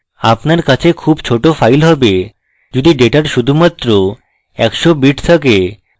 আপনার কাছে খুব ছোট file have যদি ডেটার শুধুমাত্র একশ bits থাকে